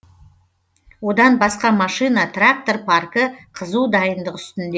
одан басқа машина трактор паркі қызу дайындық үстінде